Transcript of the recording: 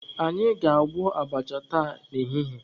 Anyị ga-agwọ abacha taa n'ehihie.